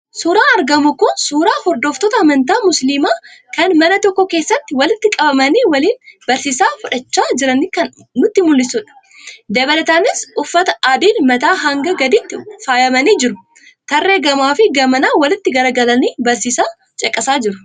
Suuraan argamu kun suuraa hordoftoota amantaa Musiliimaa kan mana tokko keessatti walitti qabanii waliin barsiisa fudhachaa jiranii kan nutti mul'isudha. Dabalataanis uffata adiin mataa hanga gadiitti faayamanii jiru. Tarree gamaafi gamanaan walitti garagalanii barsiisa caqasaa jiru.